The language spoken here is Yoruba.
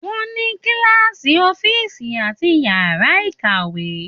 Wọ́n ní kíláàsì, ọ́fíìsì àti yàrá ìkàwé.